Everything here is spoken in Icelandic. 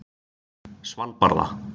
Svalbarða